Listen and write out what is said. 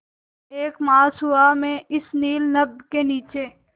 एक मास हुआ मैं इस नील नभ के नीचे